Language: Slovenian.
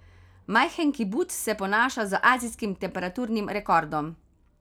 Majhen kibuc se ponaša z azijskim temperaturnim rekordom.